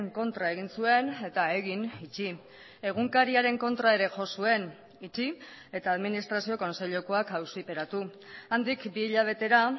kontra egin zuen eta egin itxi egunkariaren kontra ere jo zuen itxi eta administrazio kontseilukoak auziperatu handik bi hilabetera